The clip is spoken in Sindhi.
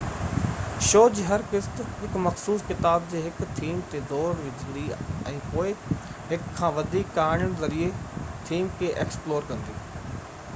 شو جي هر قسط هڪ مخصوص ڪتاب جي هڪ ٿيم تي زور وجهندي ۽ پوءِ هڪ کان وڌيڪ ڪهاڻين ذريعي ٿيم کي ايڪسپلور ڪندي